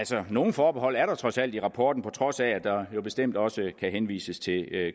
så nogle forbehold er der trods alt i rapporten på trods af at der jo bestemt også kan henvises til